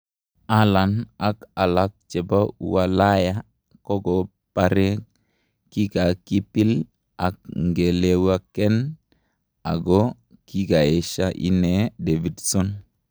Halan ak alak chepo ualaya kokopare kikakipil ak ngelewaken ago kikaesha inee Davidson.